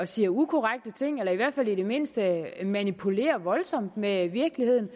siger ukorrekte ting eller i hvert fald i det mindste manipulerer voldsomt med virkeligheden